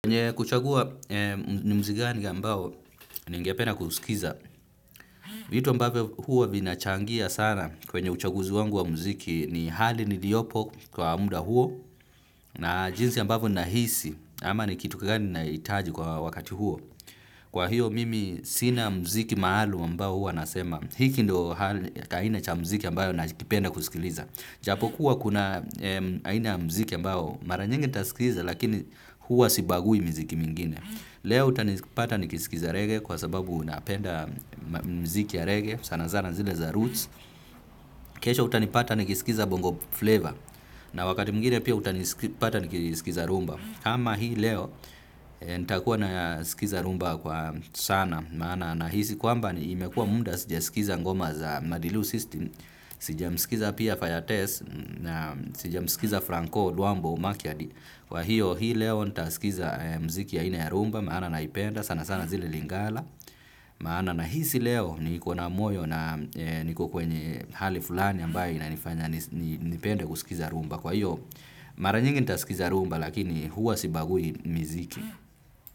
Kwenye kuchagua ni mzi gani ambao, ningepena kuuskiza. Vitu ambavyo huo vinachangia sana kwenye uchaguzi wangu wa mziki ni hali niliopo kwa muda huo. Na jinsi ambavyo ninahisi, ama ni kitu kigani ninaitaji kwa wakati huo. Kwa hiyo mimi sina mziki maalum ambao hua nasema. Hiki ndo kaina cha mziki ambayo nakipenda kusikiliza. Japokuwa kuna aina ya mziki ambao mara nyingi nitasikiza lakini hua sibagui miziki mingine. Leo utanipata nikisikiza rege kwa sababu unapenda mziki ya rege sana zana zile za roots. Kesho utanipata nikisikiza bongo flavor na wakati mwingine pia utanipata nikisikiza rumba. Kama hii leo, nitakuwa na sikiza rumba kwa sana, maana nahisi kwamba imekuwa muda sijasikiza ngoma za Madilu System, sijamsikiza pia Fire Test na sijamsikiza Franco, Duambo, Maciadi. Kwa hiyo, hii leo, nitasikiza mziki ya ina ya rumba, maana naipenda sana sana zile lingala. Maana na hisi leo, niko na moyo na niko kwenye hali fulani ambaye inanifanya nipende kusikiza rumba. Kwa hiyo, mara nyingi nitasikiza rumba lakini huwa sibagui miziki.